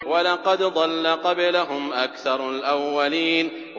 وَلَقَدْ ضَلَّ قَبْلَهُمْ أَكْثَرُ الْأَوَّلِينَ